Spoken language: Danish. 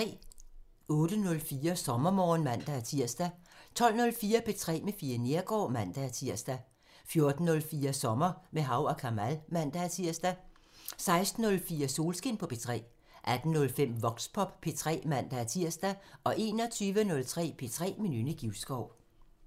08:04: SommerMorgen (man-tir) 12:04: P3 med Fie Neergaard (man-tir) 14:04: Sommer med Hav & Kamal (man-tir) 16:04: Solskin på P3 18:05: Voxpop P3 (man-tir) 21:03: P3 med Nynne Givskov